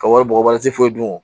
Ka wari bɔgɔ waati foyi dun